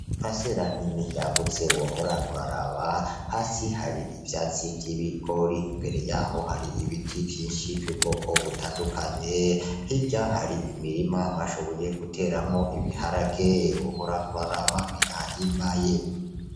Paricera nini yagutse wohora uraraba, hasi hari ivyatsi vy'ibigori, imbere yaho hari ibiti vyinshi vy'ubwoko butandukanye, hirya hari imirima bashoboye guteramwo ibiharage wohora uraraba birahimbaye.